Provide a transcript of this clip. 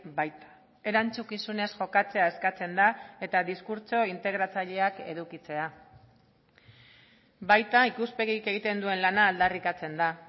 baita erantzukizunez jokatzea eskatzen da eta diskurtso integratzaileak edukitzea baita ikuspegik egiten duen lana aldarrikatzen da